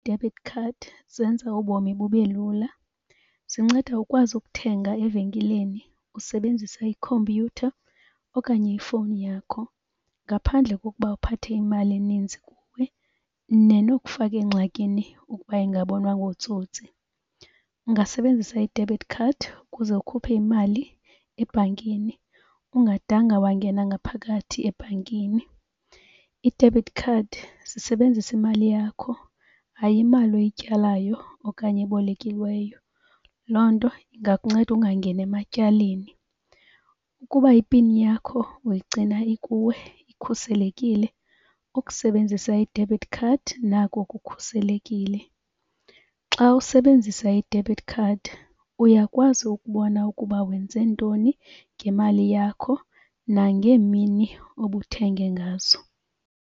Debit card zenza ubomi bube lula. Zinceda ukwazi ukuthenga evenkileni usebenzisa ikhompyutha okanye ifowuni yakho ngaphandle kokuba uphathe imali eninzi kuwe, nenokufaka engxakini ukuba ingabonwa ngootsotsi. Ungasebenzisa i-debit card ukuze ukhuphe imali ebhankini ungadanga wangena ngaphakathi ebhankini. Ii-debit card zisebenzisa imali yakho, hayi imali oyityalayo okanye ebolekiweyo. Loo nto ingakunceda ungangeni ematyaleni. Ukuba ipini yakho uyigcina ikuwe ikhuselekile, ukusebenzisa i-debit card nako kukhuselekile. Xa usebenzisa i-debit card uyakwazi ukubona ukuba wenze ntoni ngemali yakho nangeemini obuthenge ngazo.